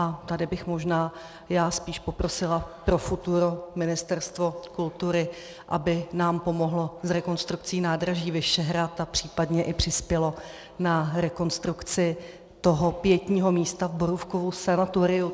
A tady bych možná já spíš poprosila pro futuro Ministerstvo kultury, aby nám pomohlo s rekonstrukcí nádraží Vyšehrad a případně i přispělo na rekonstrukci toho pietního místa v Borůvkovu sanatoriu.